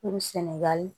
Kuru sinɛgali